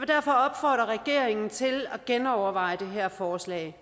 derfor opfordre regeringen til at genoverveje det her forslag